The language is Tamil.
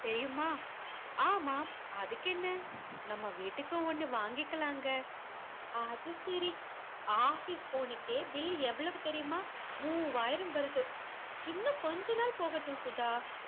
தெரியுமா ஆமாம் அதுக்கென்ன நம்ம வீட்டுக்கு ஒன்னு வாங்கிக்கலாங்க அது சரி office phone க்கே bill எவ்வளவு தெரியுமா மூவாயிரம் வருது இன்னும் கொஞ்ச நாள் போகட்டும் சுதா